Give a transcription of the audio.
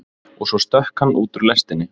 Og svo stökk hann út úr lestinni.